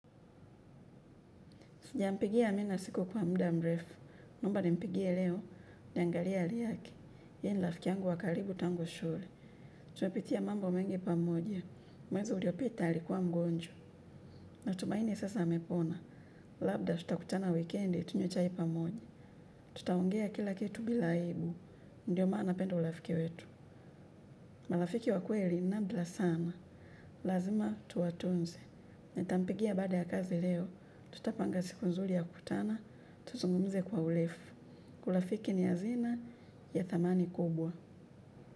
Sijampigia amina simu kwa mda mrefu, naomba nimpigie leo, niangalia hali yake, yeye ni rafiki yangu wa karibu tangu shule. Tumepitia mambo mengi pamoja, mwezi uliopita alikuwa mgonjwa. Natumaini sasa amepona, labda tutakutana wikendi, tunywe chai pamoja. Tutaongea kila kitu bila aibu, ndio maana napenda urafiki wetu. Marafiki wa kweli ni nadra sana, lazima tuwatunze. Nitampigia baada ya kazi leo, tutapanga siku nzuri ya kutana, tuzungumuze kwa urefu, uraafiki ni hazina ya thamani kubwa.